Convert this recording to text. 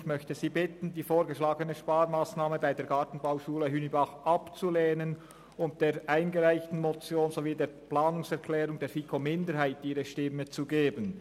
Ich möchte Sie bitten, die vorgeschlagene Sparmassnahme bei der Gartenbauschule Hünibach abzulehnen und der eingereichten Motion sowie der Planungserklärung der FiKo-Minderheit ihre Stimme zu geben.